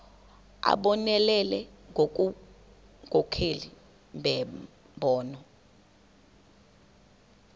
abonelele ngobunkokheli nembono